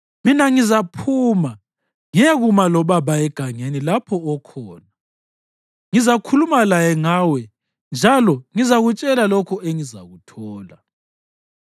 Mina ngizaphuma ngiyekuma lobaba egangeni lapho okhona. Ngizakhuluma laye ngawe njalo ngizakutshela lokho engizakuthola.”